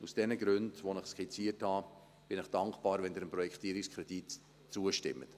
Aus den Gründen, die ich Ihnen skizziert habe, bin ich dankbar, wenn Sie dem Projektierungskredit zustimmen.